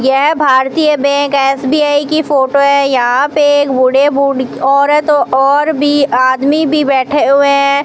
यह भारतीय bank SBI की फोटो है यहाँ पे एक बूढ़े बूढ़ी औरत और भी आदमी भी बैठे हुए हैं।